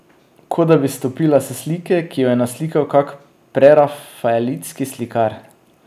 Kot da bi stopila s slike, ki jo je naslikal kak prerafaelitski slikar.